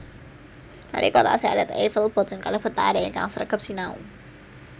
Nalika taksih alit Eiffel boten kalebet laré ingkang sregep sinau